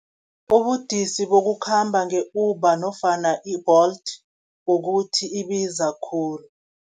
Ubudisi bokukhamba nge-Uber nofana i-Bolt, ukuthi ibiza khulu.